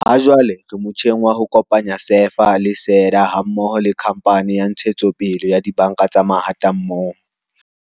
"Hajwale re motjheng wa ho kopanya SEFA le SEDA ha mmoho le Khamphane ya Ntshetsopele ya Dibanka tsa Mahatammoho."